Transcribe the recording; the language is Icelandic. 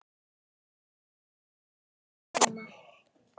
Gott með þeyttum rjóma!